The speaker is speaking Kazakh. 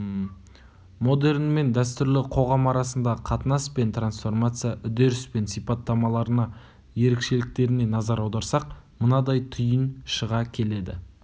модерн мен дәстүрлі қоғам арасындағы қатынас пен трансформация үдеріс пен сипаттамаларына ерекшеліктеріне назар аударсақ мынадай түйін шыға келеді